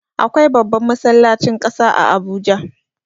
Akwai babban masallacin ƙasa a Abuja.